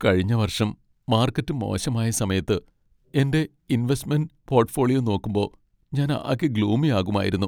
കഴിഞ്ഞ വർഷം മാർക്കറ്റ് മോശമായ സമയത്ത് എന്റെ ഇൻവെസ്റ്റ്മെൻ്റ് പോർട്ട്ഫോളിയോ നോക്കുമ്പോ ഞാൻ ആകെ ഗ്ലൂമി ആകുമായിരുന്നു.